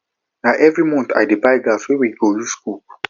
na every month i dey buy gas wey we go use cook